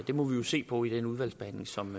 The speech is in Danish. må vi jo se på i den udvalgsbehandling som